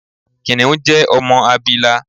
Kìnìún jẹ ọmọ abila.